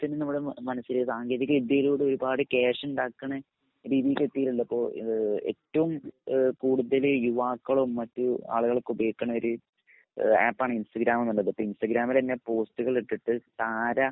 തന്നെ നമ്മുടെ മനസ്സില് സാങ്കേതിക വിദ്യായിലൂടെ ഒരുപാട് ക്യാഷ് ഇണ്ടാക്കിണ രീതിയിൽക്ക് എത്തീട്ട്ള്ളപ്പോ ഏഹ് ഏറ്റവും ഏഹ് യുവാക്കളോ മറ്റു ആളുകളൊക്കെ ഉപയോഗിക്കുന്ന ഒരു ആപ്പാണ് ഇൻസ്റ്റാഗ്രാം ന്നുള്ളത്. ഇൻസ്റ്റാഗ്രാമില്ലെന്നേ പോസ്റ്റുകൾ ഇട്ടിട്ട് തരാ